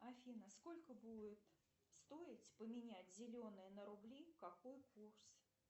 афина сколько будет стоить поменять зеленые на рубли какой курс